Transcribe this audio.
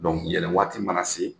yɛlɛnwaati mana se